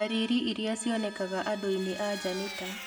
Ndariri iria cionekanaga andũinĩ anja nĩ ta;